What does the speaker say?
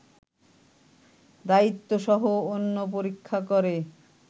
দায়িত্বসহ অন্য পরীক্ষা করে